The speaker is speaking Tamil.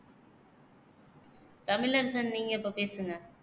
தமிழரசன் நீங்க இப்போ பேசுங்க